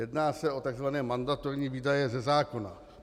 Jedná se o tzv. mandatorní výdaje ze zákona.